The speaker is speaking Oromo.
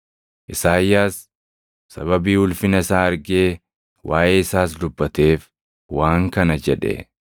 Isaayyaas sababii ulfina isaa argee waaʼee isaas dubbateef waan kana jedhe.